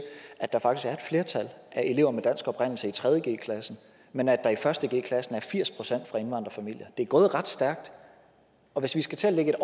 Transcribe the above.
at der faktisk er flertal af elever med dansk oprindelse i tredje g men at der i første g er firs procent fra indvandrerfamilier det er gået ret stærkt og hvis vi skal til at lægge